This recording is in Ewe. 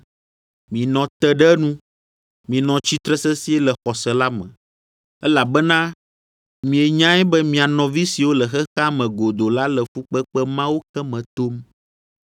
Minɔ te ɖe enu, minɔ tsitre sesĩe le xɔse la me, elabena mienyae be mia nɔvi siwo le xexea me godoo la le fukpekpe mawo ke me tom.